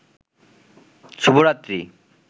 শুভরাত্রি